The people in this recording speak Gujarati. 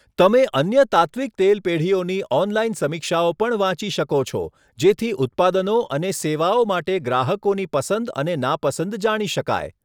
તમે અન્ય તાત્ત્વિક તેલ પેઢીઓની ઓનલાઇન સમીક્ષાઓ પણ વાંચી શકો છો, જેથી ઉત્પાદનો અને સેવાઓ માટે ગ્રાહકોની પસંદ અને નાપસંદ જાણી શકાય.